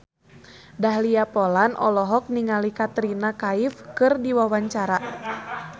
Dahlia Poland olohok ningali Katrina Kaif keur diwawancara